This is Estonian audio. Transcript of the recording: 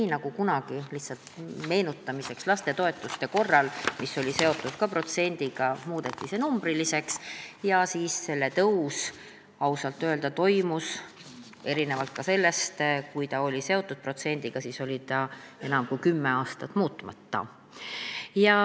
Ehk nagu kunagi – ütlen lihtsalt meenutamiseks – lapsetoetus, mis oli ka protsendiga seotud, muudeti numbriliseks ja siis ausalt öelda toimus ka selle tõus, erinevalt sellest ajast, kui see oli seotud protsendiga, siis oli see enam kui kümme aastat muutmata.